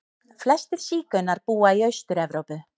Flestir sígaunar búa í Austur-Evrópu.